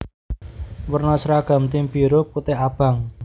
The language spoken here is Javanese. Werna sragam tim biru putih abang